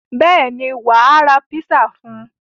Bẹ́ẹ̀ ni, wà á ra pizza fún un.